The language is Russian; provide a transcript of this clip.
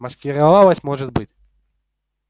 маскировалась может быть